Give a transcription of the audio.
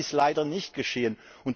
Das ist leider nicht geschehen.